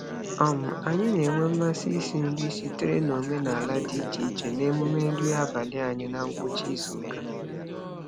um Anyị na-enwe mmasị isi nri sitere n'omenaala dị iche iche n'emume nri abalị anyị na ngwụcha izuụka.